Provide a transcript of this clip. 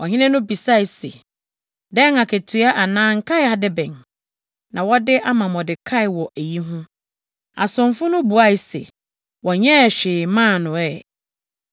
Ɔhene no bisae se, “Dɛn akatua anaa nkae ade bɛn na wɔde ama Mordekai wɔ eyi ho?” Asomfo no buae se, “Wɔnyɛɛ hwee mmaa no ɛ.”